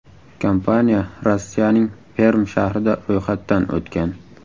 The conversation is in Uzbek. Kompaniya Rossiyaning Perm shahrida ro‘yxatdan o‘tgan.